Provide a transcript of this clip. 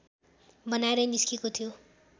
बनाएर निस्केको थियो